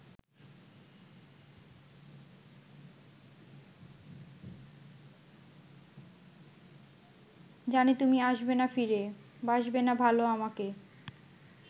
জানি তুমি আসবেনা ফিরে বাসবেনা ভালো আমাকে